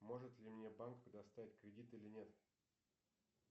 может ли мне банк предоставить кредит или нет